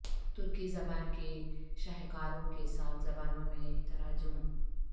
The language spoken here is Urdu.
ترکی زبان کے شاہکاروں کے سات زبانوں میں تراجم